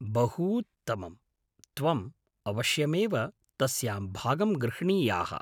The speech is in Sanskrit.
बहूत्तमं, त्वम् अवश्यमेव तस्यां भागं गृह्णीयाः।